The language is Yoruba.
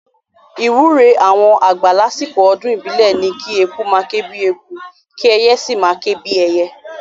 Ìwúre àwọn àgbà lásìkò ọdún ìbílẹ̀ ni kí eku máa ké bíi eku, kí ẹyẹ sì máa ké bíi ẹyẹ